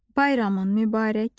Bayramın mübarək.